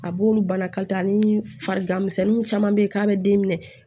A b'olu bana ka taa ni farigan misɛnninw caman bɛ ye k'a bɛ den minɛ